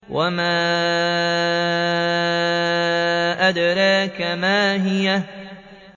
وَمَا أَدْرَاكَ مَا هِيَهْ